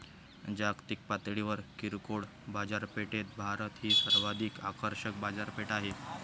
जागतिक पातळीवर किरकोळ बाजारपेठेत भारत ही सर्वाधिक आकर्षक बाजारपेठ आहे.